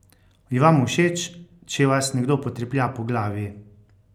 Je vam všeč, če vas nekdo potreplja po glavi?